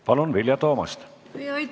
Palun, Vilja Toomast!